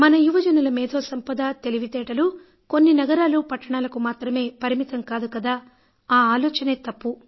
మన యువజనుల మేథో సంపద తెలివితేటలు కొన్ని నగరాలు పట్టణాలకు మాత్రమే పరిమితం కాదు కదా ఆ ఆలోచనే తప్పు